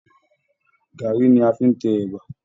Garri ní a fí n tẹ ẹ̀bà.